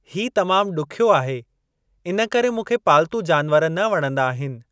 ही तमामु ॾुखियो आहे, इनकरे मूंखे पालतू जानवर न वणंदा आहिनि।